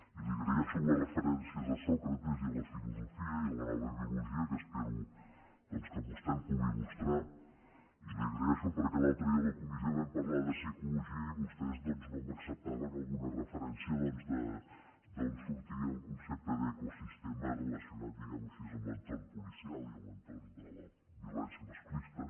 i li agraeixo les referències a sòcrates i a la filosofia i a la nova biologia en què espero doncs que vostè em pugui il·lustrar i li ho agraeixo perquè l’altre dia a la comissió vam parlar de psicologia i vostès doncs no m’acceptaven alguna referència d’on sortia el concepte d’ecosistema relacionat diguem ho així amb l’entorn policial i amb l’entorn de la violència masclista